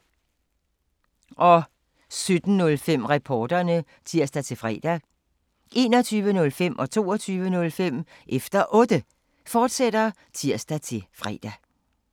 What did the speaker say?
17:05: Reporterne (tir-fre) 21:05: Efter Otte, fortsat (tir-fre) 22:05: Efter Otte, fortsat (tir-fre)